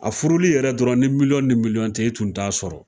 A furuli yɛrɛ dɔrɔn ni ni tɛ i kun t'a sɔrɔ